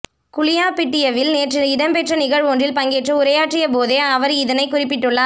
குளியாபிட்டியவில் நேற்று இடம்பெற்ற நிகழ்வொன்றில் பங்கேற்று உரையாற்றிய போதே அவர் இதனைக் குறிப்பிட்டுள்ளார்